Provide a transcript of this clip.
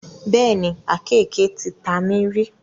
Bẹ́ẹ̀ni, àkéeke ti ta mí rí.